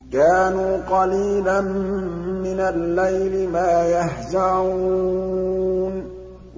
كَانُوا قَلِيلًا مِّنَ اللَّيْلِ مَا يَهْجَعُونَ